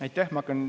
Aitäh!